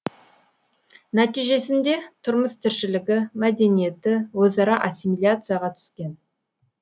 нәтижесінде тұрмыс тіршілігі мәдениеті өзара ассимиляцияға түскен